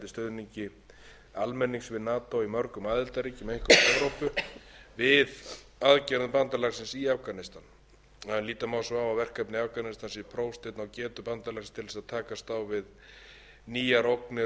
stuðningi almennings við nato í mörgum aðildarríkjum einkum í evrópu við aðgerðum bandalagsins í afganistan en líta má svo á að verkefnið í afganistan sé prófsteinn á getu bandalagsins til þess að takast á við nýjar ógnir og öryggisumhverfi